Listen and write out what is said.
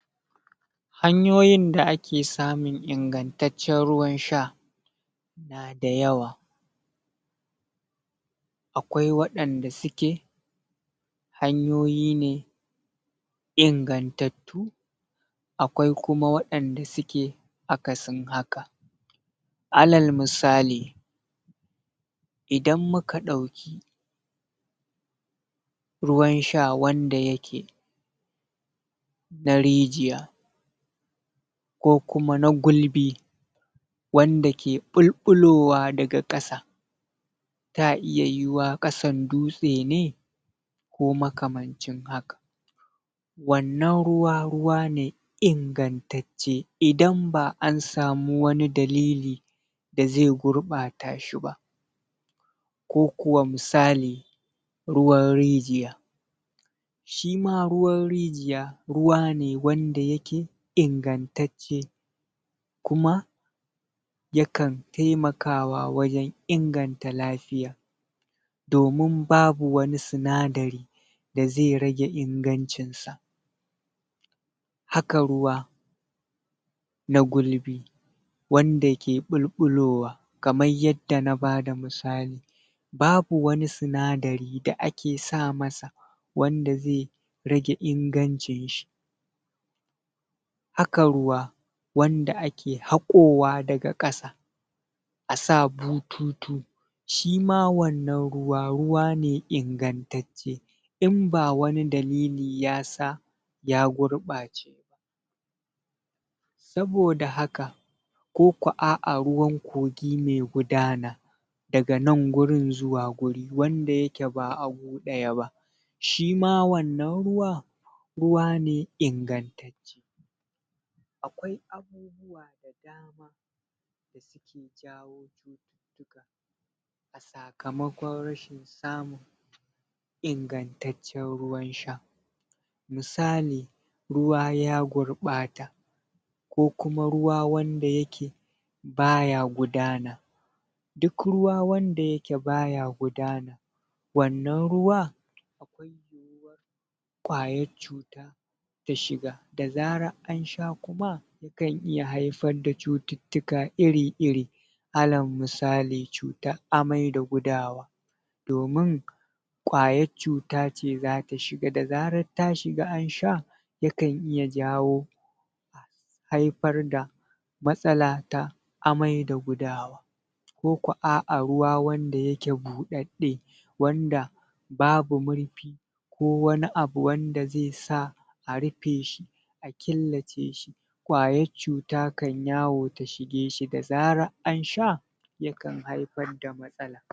Mu dai mun je, kuma mun san ba ta jin daɗi.